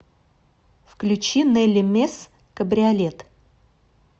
включи нелли мес кабриолет